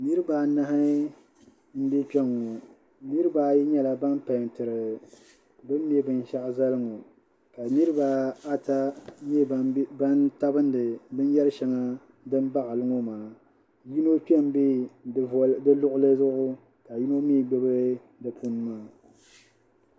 Niriba anahi m-be kpɛŋɔ niriba ayi nyɛla ban pɛɛntiri bɛ ni me binshɛɣu zali ŋɔ ka niriba ata nyɛ ban tabindi binyɛrishɛŋa din baɣili ŋɔ maa yino kpe m-be di luɣili zuɣu ka yino mi gbubi di puuni maa